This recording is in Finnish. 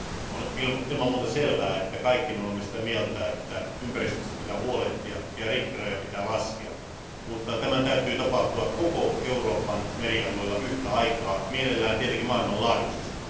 On ilman muuta selvää, että kaikki me olemme sitä mieltä, että ympäristöstä pitää huolehtia ja rikkirajoja pitää laskea. Tämän täytyy kuitenkin tapahtua kaikilla Euroopan merialueilla yhtä aikaa, mielellään tietenkin maailmanlaajuisesti.